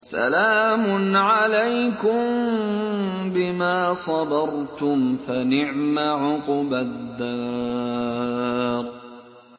سَلَامٌ عَلَيْكُم بِمَا صَبَرْتُمْ ۚ فَنِعْمَ عُقْبَى الدَّارِ